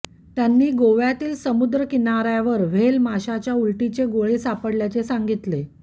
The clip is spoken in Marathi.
त्यांनी गोव्यातील समुद्रकिनाऱ्यावर व्हेल माशाच्या उलटीचे गोळे सापडल्याचे सांगितले